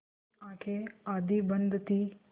उनकी आँखें आधी बंद थीं